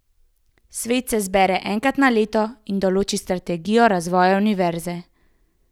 Svet se zbere enkrat na leto in določi strategijo razvoja univerze.